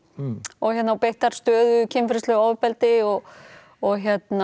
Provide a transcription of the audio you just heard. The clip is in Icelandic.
og beittar stöðugu kynferðislegu ofbeldi og og